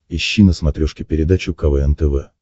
ищи на смотрешке передачу квн тв